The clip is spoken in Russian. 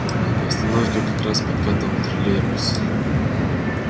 к остановке как раз подкатывал троллейбус